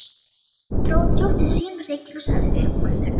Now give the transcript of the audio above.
Siggi dró djúpt til sín reykinn og sagði uppúr þurru